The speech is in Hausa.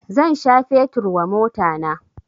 Zan sha fetur wa motana